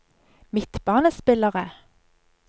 midtbanespillere